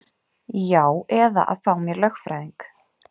Já eða að fá mér lögfræðing.